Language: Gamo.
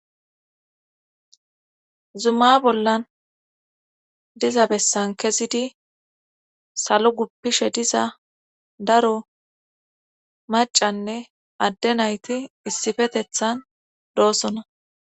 Zuma bollan diza bessan kezidi salo guppishe diza daro macanne adde nayti issifetethan doosona.